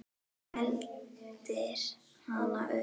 Eltir hana uppi.